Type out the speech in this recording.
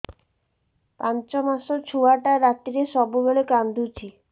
ପାଞ୍ଚ ମାସ ଛୁଆଟା ରାତିରେ ସବୁବେଳେ କାନ୍ଦୁଚି